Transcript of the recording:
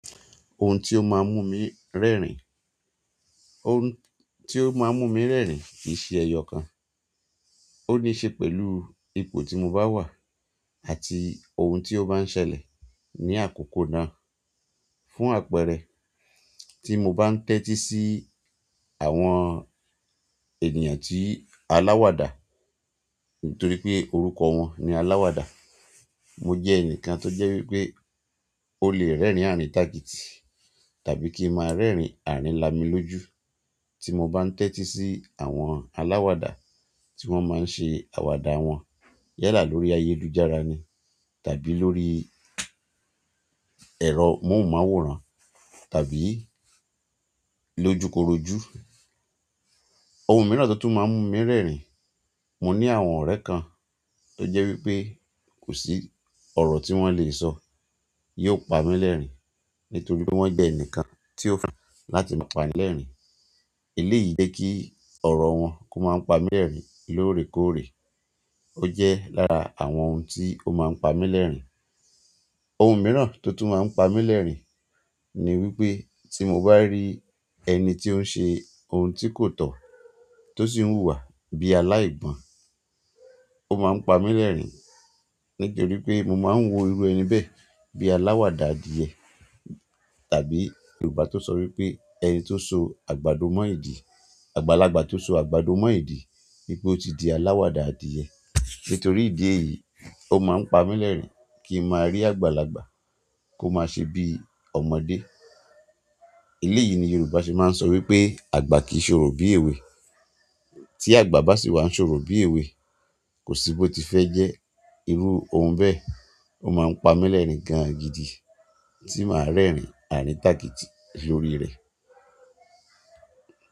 Ohun tí ó máa ń mú mi rẹ́rìn-ín, ohun tí ó máa ń mú mi rẹ́rìn-ín kìí ṣe ẹyọ kan, ó ní í ṣe pẹ̀lú ipò tí mo bá wà àti ohun tí ó bá ń ṣẹlẹ̀ ní àkókò náà. Fún àpẹẹrẹ, tí mo bá ń tẹ́tí sí àwọn ènìyàn tí aláwàdà nítorí pé orúkọ wọn ni aláwàdà, mo jẹ́ ẹnìkan tó jẹ́ wí pé ó lè rẹ́rìn àríntákìtì tàbí kí mo máa rẹ́rìn àrinlámilójú tí mo bá ń tẹ́tí sí àwọn aláwàdà tí wọ́n máa ń ṣe àwàdà wọn yálà lórí ayélujára ni tàbí lórí ẹ̀rọ móhùnmáwòrán tàbí lójúkorojú. Ohun mìíràn tó tún máa ń mú mi rẹ́rìn-ín. Mo ní àwọn ọ̀rẹ́ kan tó jẹ́ wípé kò sí ọ̀rọ̀ tí wọ́n lè sọ, yóò pa mí lẹ́rìn-ín nítorí wọ́n jẹ́ ẹnìkan tí ò mọ̀ ju láti máa pani lẹ́rìn-ín. Eléyìí jẹ́ kí ọ̀rọ̀ wọn kó máa ń pa mí lẹ́rìn-ín lóòrèkóòrè. Ó jẹ́ lára àwọn ohun tí ó máa ń pa mí lẹ́rìn. Ohun mìíràn tó tún máa ń pa mí lẹ́rìn-ín ni wípé tí mo bá rí ẹni tí ó ń ṣe ohun tí kò tọ́ tó sì ń hùwà bí aláìgbọ̀n, ó máa ń pa mí lẹ́rìn-ín nítorí pé mo máa ń wo irú ẹni bẹ́ẹ̀ bí aláwàdà adìyẹ tàbí Yorùbá tó sọ wípé ẹni tó so àgbàdo mọ́ ìdí, àgbàlagbà tó so àgbàdo mọ́ ìdí wípé ó ti di aláwàdà adìyẹ. Nítorí ìdí èyí, ó máa ń pa mí lẹ́rìn kí n máa rí àgbàlagbà kó máa ṣe bí ọmọdé. Eléyìí ni Yorùbá ṣe máa ń sọ wípé àgbà kì í ṣorò bí èwe. Tí àgbà bá sì wá ń ṣorò bí èwe, kò sí bó ti fẹ́ jẹ́, irú ohun bẹ́ẹ̀. Ó máa ń pa mí lẹ́rìn-ín gan-an gidi tí màá rẹ́rìn-ín àríntàkìtì lórí rẹ̀.